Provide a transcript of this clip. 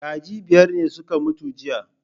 Kaji biyar ne suka mutu jiya